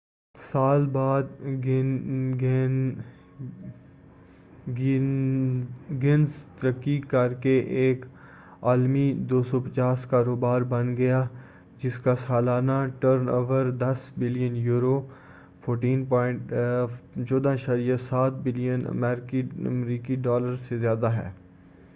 250 سال بعد گینز ترقی کر کے ایک عالمی کاروبار بن گیا ہے جس کا سالانہ turnover billion euro 14.7 billion امریکی ڈالر سے زیادہ ہے۔